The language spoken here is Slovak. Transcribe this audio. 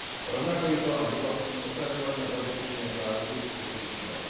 Rovnako je to aj v oblasti ochraňovania a zabezpečenia práv obetí trestných činov.